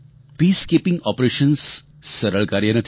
peacekeeping operations સરળ કાર્ય નથી